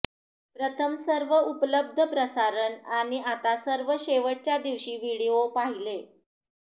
प्रथम सर्व उपलब्ध प्रसारण आणि आता सर्व शेवटच्या दिवशी व्हिडिओ पाहिले